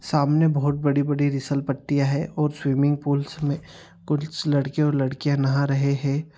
सामने बहुत बड़ी-बड़ी फिसल पट्टियां है और स्विमिंग पूल्स में कुछ लड़के और लड़कियां नहा रहे है।